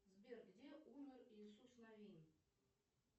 сбер где умер иисус навин